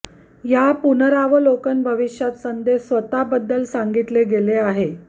या पुनरावलोकन भविष्यात संदेश स्वतः बद्दल सांगितले गेले आहे